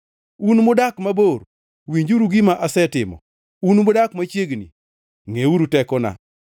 Un mudak mabor, winjuru gima asetimo, un mudak machiegni ngʼeuru tekona!